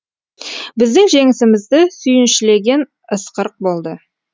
біздің жеңісімізді сүйіншілеген ысқырық болды